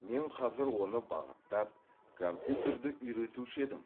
мен қазір оны бағыттап компьютерді үйретуші едім